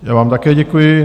Já vám také děkuji.